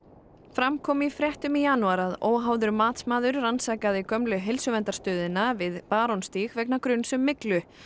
fram kom í fréttum í janúar að óháður matsmaður rannsakaði gömlu heilsuverndarstöðina við Barónstíg vegna gruns um myglu